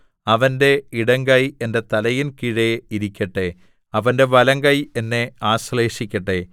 അവന്റെ ഇടങ്കൈ എന്റെ തലയിൻ കീഴെ ഇരിക്കട്ടെ അവന്റെ വലങ്കൈ എന്നെ ആശ്ലേഷിക്കട്ടെ